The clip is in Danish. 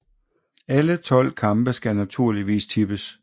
Alle 12 kampe skal naturligvis tippes